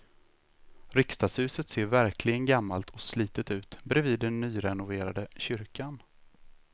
Riksdagshuset ser verkligen gammalt och slitet ut bredvid den nyrenoverade kyrkan.